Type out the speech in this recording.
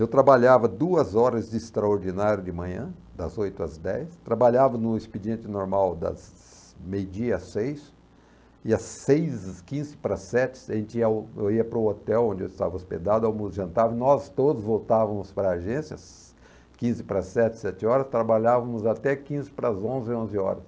Eu trabalhava duas horas de extraordinário de manhã, das oito às dez, trabalhava no expediente normal das meia-dia às seis, e às seis e quinze para sete, a gente ia ao, eu ia para o hotel onde eu estava hospedado, jantava, nós todos voltávamos para a agência, quinze para sete, sete horas, trabalhávamos até quinze para onze, onze horas.